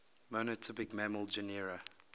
monotypic mammal genera